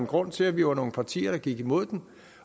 grunden til at vi var nogle partier der gik imod den